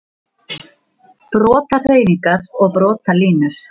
Brotahreyfingar og brotalínur